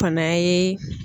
pana ye